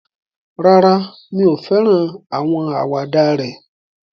Rárá, mi ò fẹ́ràn àwọn àwàdà rẹ̀